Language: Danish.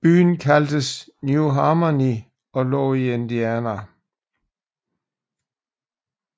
Byen kaldtes New Harmony og lå i Indiana